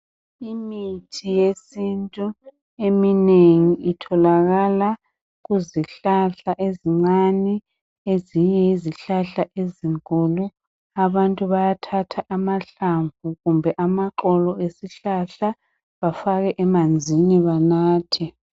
Imithi yesintu eminengi itholakala kuzihlahla ezincane ezinye yizihlahla ezinkulu. Abantu bayathatha amahlamvu kumbe amaxolo esihlahla bafake emanzini banathe.